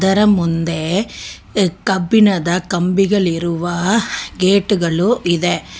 ಇದರ ಮುಂದೆ ಅ ಕಬ್ಬಿಣದ ಕಂಬಿಗಳಿರುವ ಗೇಟುಗಳು ಇದೆ.